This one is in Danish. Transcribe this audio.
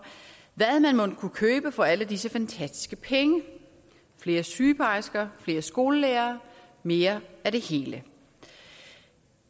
hvad man mon kunne købe for alle disse fantastiske penge flere sygeplejersker flere skolelærere mere af det hele